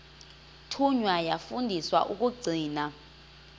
thunywa yafundiswa ukugcina